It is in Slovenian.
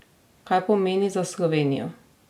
Kaj pomeni za Slovenijo?